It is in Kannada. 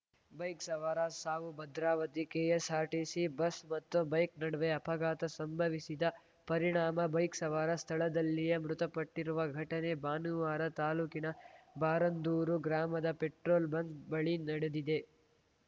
ಬೈಕ್‌ ಸವಾರ ಸಾವು ಭದ್ರಾವತಿ ಕೆಎಸ್‌ಆರ್‌ಟಿಸಿ ಬಸ್‌ ಮತ್ತು ಬೈಕ್‌ ನಡುವೆ ಅಪಘಾತ ಸಂಭವಿಸಿದ ಪರಿಣಾಮ ಬೈಕ್‌ ಸವಾರ ಸ್ಥಳದಲ್ಲಿಯೇ ಮೃತಪಟ್ಟಿರುವ ಘಟನೆ ಭಾನುವಾರ ತಾಲೂಕಿನ ಬಾರಂದೂರು ಗ್ರಾಮದ ಪೆಟ್ರೋಲ್‌ ಬಂಕ್‌ ಬಳಿ ನಡೆದಿದೆ